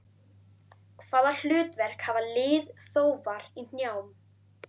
Hvaða hlutverk hafa liðþófar í hnjám?